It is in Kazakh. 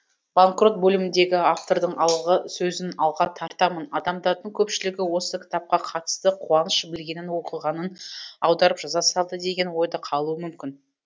банкрот бөліміндегі автордың алғы сөзін алға тартамын адамдардың көпшілігі осы кітапқа қатысты қуаныш білгенін оқығанын аударып жаза салды деген ой да қалуы мүмкін